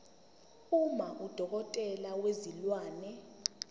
uma udokotela wezilwane